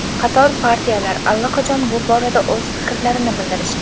Qator partiyalar allaqachon bu borada o‘z fikrlarini bildirishgan.